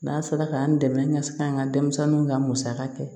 N'a sera k'an dɛmɛ ka se ka n ka denmisɛnninw ka musaka kɛ